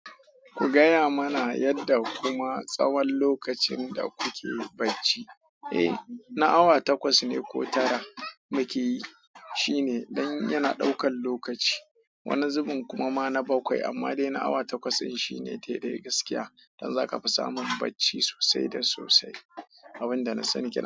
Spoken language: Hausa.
Ku gaya mana yadda kuma tsawon lokacin da kuke bacci. Eh, na awa takwas ne ko tara muke yi, shine dan yana ɗaukan lokaci. Wani zubin kuma ma na bakwai amma dai na awa takwas din shi ne daidai gaskiya. Dan zaka fi samun bacci sosai da sosai. Abunda na sani kenan.